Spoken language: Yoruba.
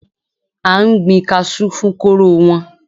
A n gbin kasú fún kóró wọn.